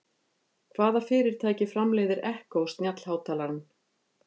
Hvaða fyrirtæki framleiðir Echo snjallhátalarann?